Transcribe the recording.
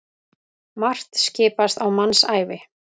Margt skipast á mannsævi.